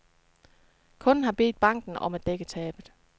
Kunden har bedt banken om at dække tabet.